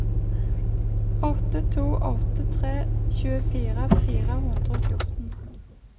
åtte to åtte tre tjuefire fire hundre og fjorten